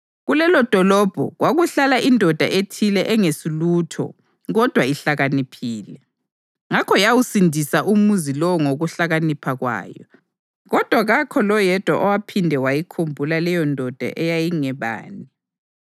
Kulelodolobho kwakuhlala indoda ethile engesulutho kodwa ihlakaniphile, ngakho yawusindisa umuzi lowo ngokuhlakanipha kwayo. Kodwa kakho loyedwa owaphinde wayikhumbula leyondoda eyayingebani.